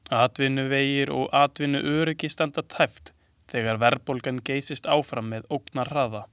Atvinnuvegir og atvinnuöryggi standa tæpt þegar verðbólgan geysist áfram með ógnarhraða.